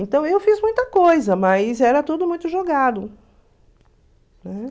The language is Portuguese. Então eu fiz muita coisa, mas era tudo muito jogado, né?